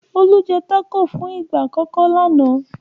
Olú jẹ́ tákò fún ìgbà àkọ́kọ́ lánàá.